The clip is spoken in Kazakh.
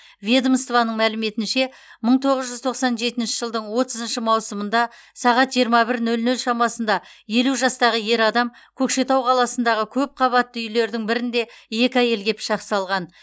ведомствоның мәліметінше мың тоғыз жүз тоқсан жетінші жылдың отызыншы маусымында сағат жиырма бір нөл нөл шамасында елу жастағы ер адам көкшетау қаласындағы көпқабатты үйлердің бірінде екі әйелге пышақ салған